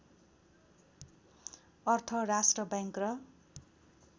अर्थ राष्ट्रबैंक र